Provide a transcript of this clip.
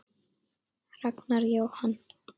Ragnar Jóhann.